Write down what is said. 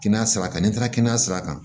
Kɛnɛya saba kan n'i taara kɛnɛya sira kan